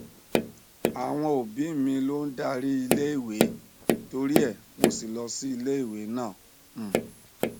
àwọn òbí mi ló ń darí iléèwé torie mo sì lọ sí iléèwé náà um